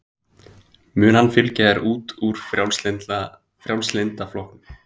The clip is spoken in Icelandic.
Mun hann fylgja þér út úr Frjálslynda flokknum?